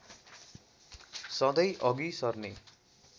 सधैँ अघि सर्ने